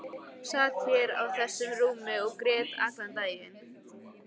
Sat hér á þessu rúmi og grét allan daginn.